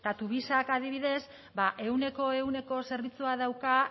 eta tuvisak adibidez ehuneko ehuneko zerbitzua dauka